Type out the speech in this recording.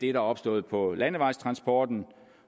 er opstået på landevejstransportområdet